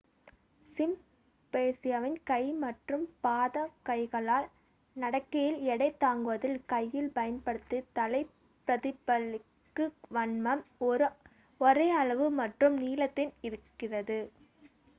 சிம்பன்சியின் கை மற்றும் பாதம் கைகளால் நடக்கையில் எடை தாங்குவதில் கையின் பயன்படுத்துதலைப் பிரதிபலிக்கும் வண்ணம் ஒரே அளவு மற்றும் நீளத்தில் இருக்கிறது